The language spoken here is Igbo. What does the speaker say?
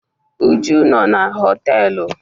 Uju nọ na họtelu.